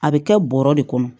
A bɛ kɛ bɔrɛ de kɔnɔ